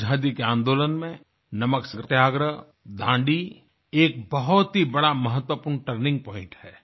आजादी के आंदोलन में नमक सत्याग्रह दांडी एक बहुत ही बड़ा महत्वपूर्ण टर्निंग पॉइंट है